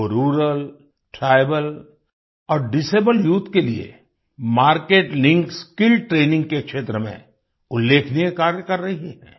वो rural tribal और disabled youth के लिए मार्केट लिंक्ड स्किल्स ट्रेनिंग के क्षेत्र में उल्लेखनीय कार्य कर रही हैं